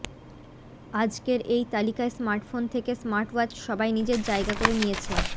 আজকের এই তালিকায় স্মার্টফোন থেকে স্মার্টওয়াচ সবাই নিজের জায়গা করে নিয়েছে